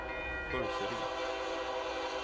Burseryd